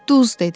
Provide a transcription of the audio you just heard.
Duz dedi.